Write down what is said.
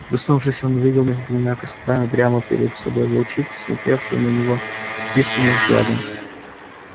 проснувшись он увидел между двумя кострами прямо перед собой волчицу смотревшую на него пристальным взглядом